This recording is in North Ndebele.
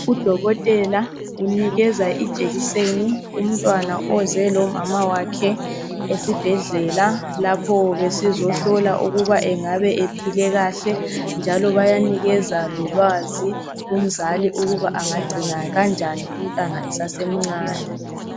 Udokotela unikeza ijekiseni umntwana oze lomama wakhe esibhedlela lapho bezohlola ukuthi engabe ephile kahle, njalo bayanikeza lolwazi ukuba angagcina njani umntwana esase mncane.